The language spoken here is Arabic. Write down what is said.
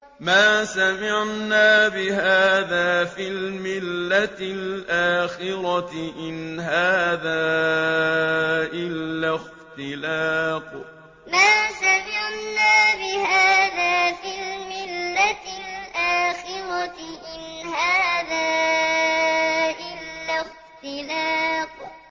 مَا سَمِعْنَا بِهَٰذَا فِي الْمِلَّةِ الْآخِرَةِ إِنْ هَٰذَا إِلَّا اخْتِلَاقٌ مَا سَمِعْنَا بِهَٰذَا فِي الْمِلَّةِ الْآخِرَةِ إِنْ هَٰذَا إِلَّا اخْتِلَاقٌ